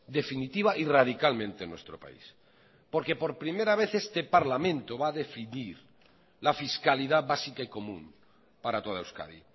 definitiva y radicalmente en nuestro país porque por primera vez este parlamento va a definir la fiscalidad básica y común para toda euskadi